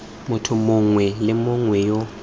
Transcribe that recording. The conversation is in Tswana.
motho mongwe le mongwe yo